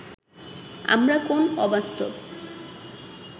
আমরা কোন অবাস্তব